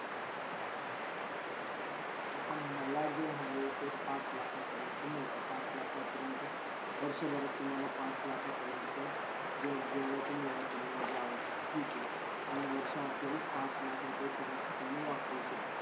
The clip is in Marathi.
आता मला जे आहे ते पाच लाखा परंत मिळता पाच लाखा परंत वर्षाभरात तुम्हाला पाच लाखा परयंत जेवडे पण वेळ जाल ठीक हे पण वर्षा अखिरी पाच लाख रुपय तुम तुम्ही वापरू शक्ता.